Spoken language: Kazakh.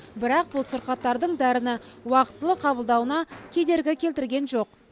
бірақ бұл сырқаттардың дәріні уақытылы қабылдауына кедергі келтірген жоқ